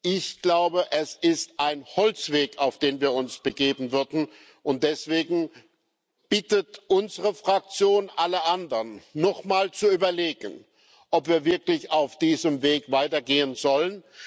Ich glaube, es ist ein Holzweg, auf den wir uns begeben würden, und deswegen bittet unsere Fraktion alle anderen, noch einmal zu überlegen, ob wir wirklich auf diesem Weg weitergehen sollen.